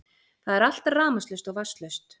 Það er allt rafmagnslaust og vatnslaust